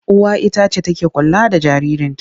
Uwa ita ce take kula da jaririnta.